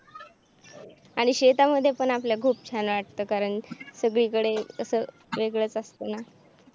आणि शेतामध्ये पण आपल्या खूप छान वाटतं कारण सगळीकडे असा वेगळच असत ना